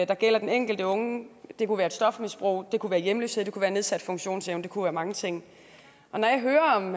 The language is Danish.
der gælder den enkelte unge det kunne være stofmisbrug det kunne være hjemløshed det kunne være nedsat funktionsevne det kunne være mange ting når jeg hører om